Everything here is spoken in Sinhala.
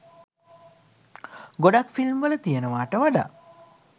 ගොඩක් ෆිල්ම් වල තියෙනවට වඩා